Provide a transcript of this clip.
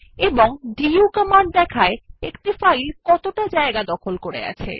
এবং দু কমান্ড দেখায় একটি ফাইল কতটা স্থান দখল করে আছে